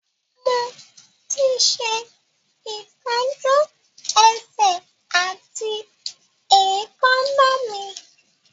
Mo ti ṣe ìtọ́jú ẹsẹ̀ àti èékánná mi